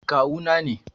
Kawu na ne.